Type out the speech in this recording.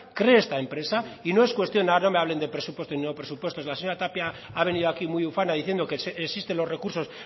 cree esta empresa y no es cuestión ahora no me hablen de presupuestos y no presupuestos la señora tapia ha venido aquí muy ufana diciendo que existen los recursos